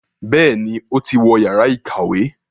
Béèni o tí wọ Yàrá ìkàwé.